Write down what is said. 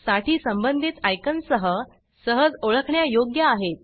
साठी संबंधित ऑयकॉन सह सहज ओळखण्यायोग्य आहेत